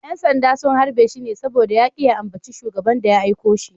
‘Yan sanda sun harbe shi ne saboda ya ki ya ambaci Shugaban da ya aiko shi.